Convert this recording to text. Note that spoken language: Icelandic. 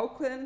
ákveðinn